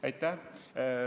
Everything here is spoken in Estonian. Aitäh!